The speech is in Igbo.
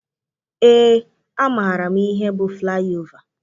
Éé, amaara m ihe bụ flaị ova.